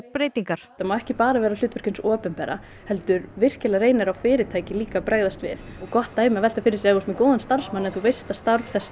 breytingar þetta má ekki bara vera hlutverk hins opinbera heldur virkilega reynir á fyrirtæki líka að bregðast við gott dæmi að velta fyrir sér ef þú ert með góðan starfsmann en þú veist að starf þess